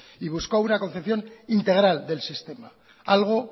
y buscó una concepción integral del sistema algo